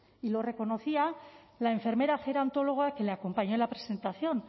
y lo reconocía la enfermera gerontologa que le acompañó en la presentación